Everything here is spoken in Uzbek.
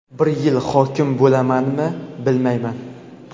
bir yil hokim bo‘lamanmi, bilmayman.